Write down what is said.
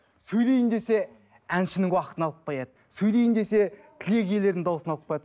сөйлейін десе әншінің уақытын алып қояды сөйлейін десе тілек иелерінің дауысын алып қояды